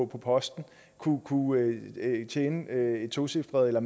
på posten kunne tjene et tocifret eller